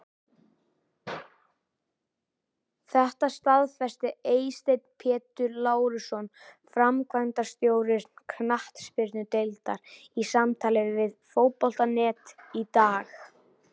Þetta staðfesti Eysteinn Pétur Lárusson, framkvæmdastjóri knattspyrnudeildar, í samtali við Fótbolta.net í dag.